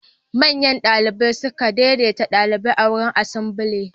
Manyan ɗalibai sukan daideta ɗalibai a wurin asambly.